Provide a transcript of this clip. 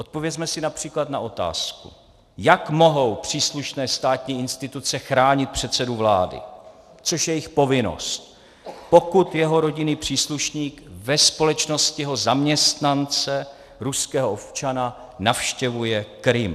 Odpovězme si například na otázku, jak mohou příslušné státní instituce chránit předsedu vlády, což je jejich povinnost, pokud jeho rodinný příslušník ve společnosti jeho zaměstnance, ruského občana, navštěvuje Krym.